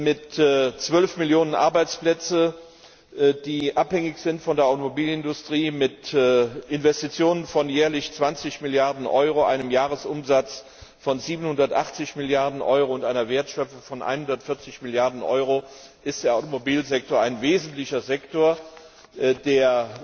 Mit 12 Millionen Arbeitsplätzen, die von der Automobilindustrie abhängig sind, mit Investitionen von jährlich 20 Milliarden Euro, einem Jahresumsatz von 780 Milliarden Euro und einer Wertschöpfung von 140 Milliarden Euro ist der Automobilsektor ein wesentlicher Sektor, der